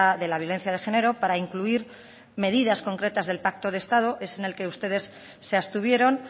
de la violencia de género para incluir medidas concretas del pacto de estado es en el que ustedes se abstuvieron